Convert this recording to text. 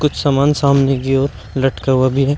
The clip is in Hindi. समान सामने की ओर लटका हुआ भी है।